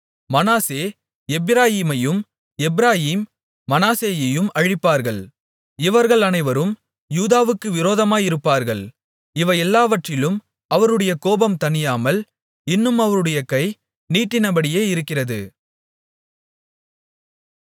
மனாசே எப்பிராயீமையும் எப்பிராயீம் மனாசேயையும் அழிப்பார்கள் இவர்கள் அனைவரும் யூதாவுக்கு விரோதமாயிருப்பார்கள் இவையெல்லாவற்றிலும் அவருடைய கோபம் தணியாமல் இன்னும் அவருடைய கை நீட்டினபடியே இருக்கிறது